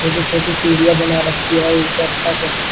छोटी छोटी सीढ़ियां बना रखी हैं ऊपर तक--